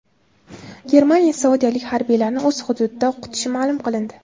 Germaniya saudiyalik harbiylarni o‘z hududida o‘qitishi ma’lum qilindi.